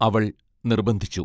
അവൾ നിർബന്ധിച്ചു.